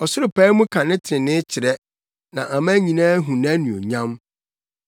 Ɔsoro pae mu ka ne trenee kyerɛ na aman nyinaa hu nʼanuonyam.